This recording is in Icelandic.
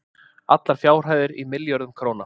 Allar fjárhæðir í milljörðum króna.